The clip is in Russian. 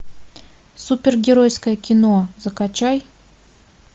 супергеройское кино закачай